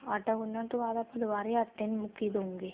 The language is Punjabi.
ਆਟਾ ਗੁੰਨਣ ਤੋਂ ਬਾਅਦ ਆਪਾਂ ਦੁਵਾਰੇ ਆਟੇ ਨੂੰ ਮੁੱਕੀ ਦਉਗੇ